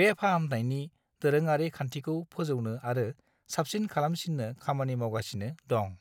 बे फाहामनायनि दोरोङारि खान्थिखौ फोजौनो आरो साबसिन खालामसिन्नो खामानि मावगासिनो दं।